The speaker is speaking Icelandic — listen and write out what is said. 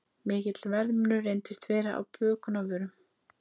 Mikill verðmunur reyndist vera á bökunarvörum